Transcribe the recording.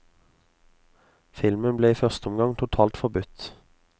Filmen ble i første omgang totalt forbudt.